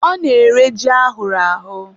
ọ na-ere ji ahụrụ ahụ